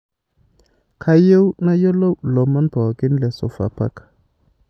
kayieu nayiloi lomon pokin le sofapaka